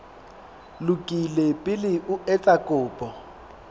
lokile pele o etsa kopo